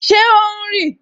Ṣé o ń rì?